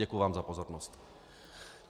Děkuji vám za pozornost.